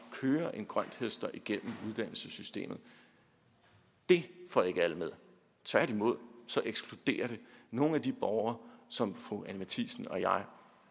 at køre en grønthøster igennem uddannelsessystemet det får ikke alle med tværtimod ekskluderer det nogle af de borgere som fru anni matthiesen og jeg